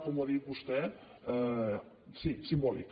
com ho ha dit vostè sí simbòlic